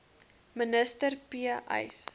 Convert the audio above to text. minister p uys